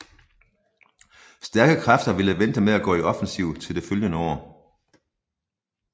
Stærke kræfter ville vente med at gå i offensiv til det følgende år